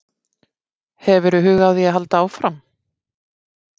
Hefurðu hug á því að halda áfram?